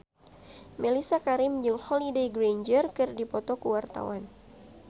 Mellisa Karim jeung Holliday Grainger keur dipoto ku wartawan